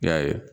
I y'a ye